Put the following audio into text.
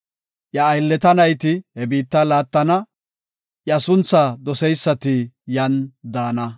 Iya aylleta nayti he biitta laattana; iya sunthaa doseysati yan daana.